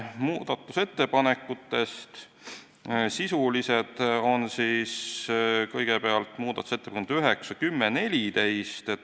Muudatusettepanekutest sisulised on kõigepealt muudatusettepanekud nr 9, 10 ja 14.